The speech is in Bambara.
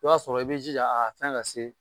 I b'a sɔrɔ i b'i jija a fɛn ka se